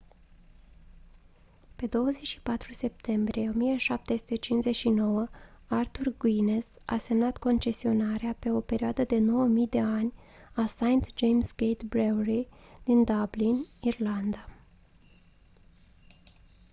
pe 24 septembrie 1759 arthur guiness a semnat concesionarea pe o perioadă de 9000 de ani a st james' gate brewery din dublin irlanda